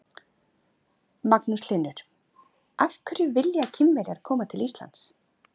Magnús Hlynur: Af hverju vilja Kínverjar koma til Íslands?